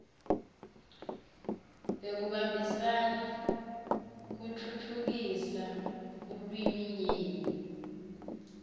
bekubambisana kutfutfukisa bulwiminyenti